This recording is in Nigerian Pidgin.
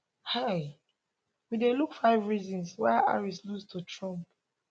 hia we dey look five reasons why harris lose to trump